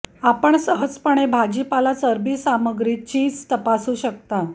आपण सहजपणे भाजीपाला चरबी सामग्री चीज तपासू शकता